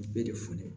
Bɛɛ de fɔnen